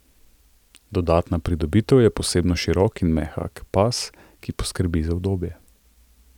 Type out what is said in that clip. Dodatna pridobitev je posebno širok in mehak pas, ki poskrbi za udobje.